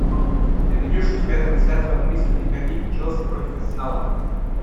ты найдешь у себя трансляцию английской премьер лиги челси против арсенала